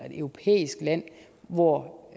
europæisk land hvor